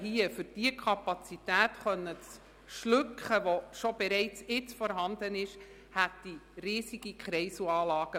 Um die Kapazität des Verkehrs zu schlucken, die bereits jetzt vorhanden ist, bräuchte es riesige Kreiselanlagen.